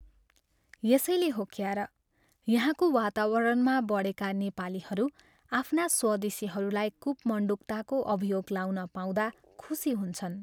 यसैले हो क्यार यहाँको वातावरणमा बढेका नेपालीहरू आफ्ना स्वदेशीहरूलाई कूपमण्डूकताको अभियोग लाउन पाउँदा खुशी हुन्छन्।